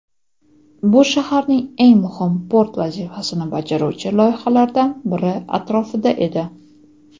Bu shaharning eng muhim port vazifasini bajaruvchi loyihalaridan biri atrofida edi.